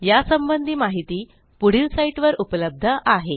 यासंबंधी माहिती पुढील साईटवर उपलब्ध आहे